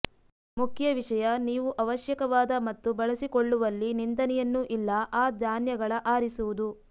ಮುಖ್ಯ ವಿಷಯ ನೀವು ಅವಶ್ಯಕವಾದ ಮತ್ತು ಬಳಸಿಕೊಳ್ಳುವಲ್ಲಿ ನಿಂದನೆಯನ್ನು ಇಲ್ಲ ಆ ಧಾನ್ಯಗಳ ಆರಿಸುವುದು